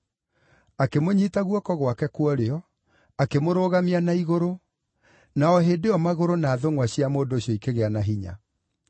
Akĩmũnyiita guoko gwake kwa ũrĩo, akĩmũrũgamia na igũrũ, na o hĩndĩ ĩyo magũrũ na thũngʼwa cia mũndũ ũcio ikĩgĩa na hinya.